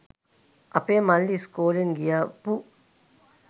අපේ මල්ලි ඉස්කෝලෙන් ගියපු